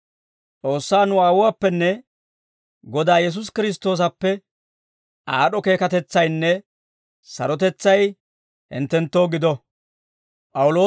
S'oossaa nu Aawuwaappenne Godaa Yesuusi Kiristtoosappe, aad'd'o keekatetsaynne sarotetsay hinttenttoo gido.